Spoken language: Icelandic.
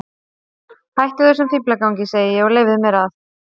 Hættu þessum fíflagangi, segi ég, og leyfðu mér að.